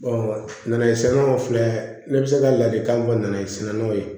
nɛnɛ sɛnɛna o filɛ ne bɛ se ka ladilikan min fɔ nɛgɛ sɛnɛnnaw ye